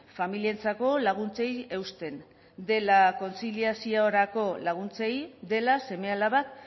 familientzako laguntzei eusten dela kontziliaziorako laguntzei dela seme alabak